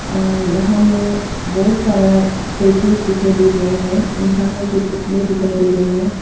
अ यहां में बहुत सारा स्टेच्यूस दिखाई दे रहे हैं इंसानों के पुतले दिखाई दे रहे हैं।